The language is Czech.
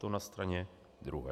To na straně druhé.